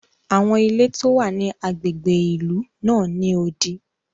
Awọn ilé ti o wa ni agbègbè ìlú náà n ni odi.